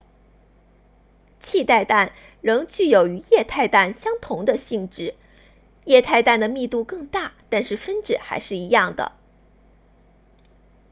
气态氮仍具有与液态氮相同的性质液态氮的密度更大但是分子还是一样的